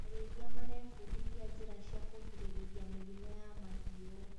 Arĩithia marebundithia njĩra cia kũgirĩrĩria mĩrimũ ya mahiũ.